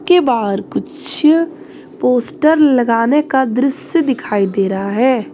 के बाहर कुछ पोस्टर लगाने का दृश्य दिखाई दे रहा है।